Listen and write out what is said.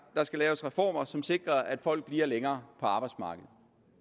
der skal laves reformer som sikrer at folk bliver længere på arbejdsmarkedet